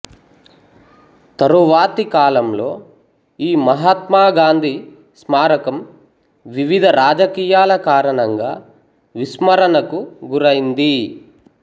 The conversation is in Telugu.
తరువాతి కాలంలో ఈ మహాత్మా గాంధీ స్మారకం వివిధ రాజకీయాల కారణంగా విస్మరణకు గురైంది